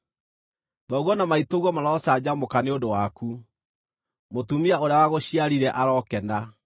Thoguo na maitũguo marocanjamũka nĩ ũndũ waku; mũtumia ũrĩa wagũciarire arokena!